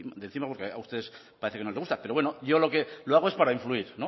de encima porque a ustedes parece que no les gusta pero bueno yo lo que lo hago es para influir